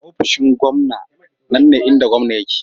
Ofishin gwamna nan ne inda gwamna yake.